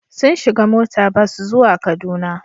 Sun shiga mota bas zuwa Kaduna.